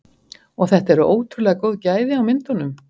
Og þetta eru ótrúlega góð gæði á myndunum?